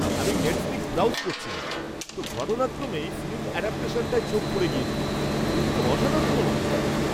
আমি Netflix browse করছিলাম, তো ঘটনাক্রমেই ফিল্ম অ্যাডাপটেশনটায় চোখ পড়ে গেছিল। দেখে তো অসাধারণ মনে হচ্ছে!